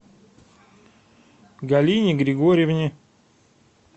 галине григорьевне